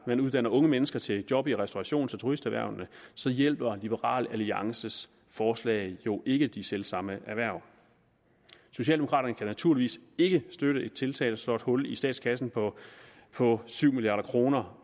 man uddanner unge mennesker til job i restaurations og turisterhvervene så hjælper liberal alliances forslag jo ikke de selv samme erhverv socialdemokraterne kan naturligvis ikke støtte et tiltag der slår et hul i statskassen på på syv milliard kroner